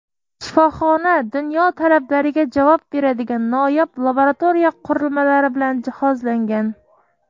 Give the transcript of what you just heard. Shifoxona dunyo talablariga javob beradigan noyob laboratoriya qurilmalari bilan jihozlangan.